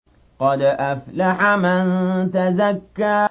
قَدْ أَفْلَحَ مَن تَزَكَّىٰ